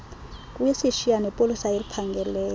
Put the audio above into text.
kuyishiya nepolisa eliphangeleyo